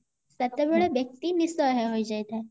ସେତେବେଳେ ବ୍ୟକ୍ତି ନିସହାୟ ହେଇଯାଇଥାଏ